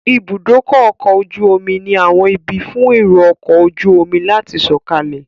Ibùdó ọkọ̀ ojú omi ni àwọn ibi fún èrò ọkọ̀ ojú omi láti sọ̀kalẹ̀